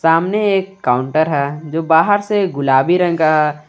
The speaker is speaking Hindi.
सामने एक काउंटर है जो बाहर से गुलाबी रंग का है।